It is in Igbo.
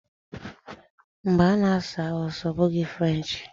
Mba, ọ na-asụ Hausa ọ bụghị French